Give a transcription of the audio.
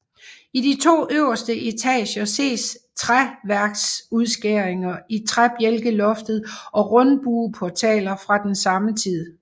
I de to øverste etager ses træværksudskæringer i træbjælkeloftet og rundbueportaler fra den samme tid